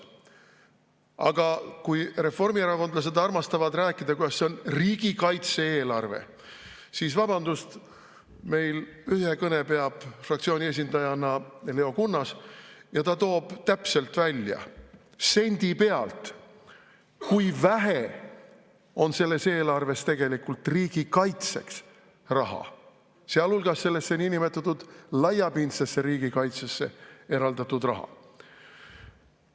Aga kui reformierakondlased armastavad rääkida, et see on riigikaitse-eelarve, siis vabandust, meil ühe kõne peab fraktsiooni esindajana Leo Kunnas ja ta toob täpselt välja, sendi pealt, kui vähe on selles eelarves tegelikult riigikaitseks raha, sealhulgas sellesse niinimetatud laiapindsesse riigikaitsesse eraldatud raha.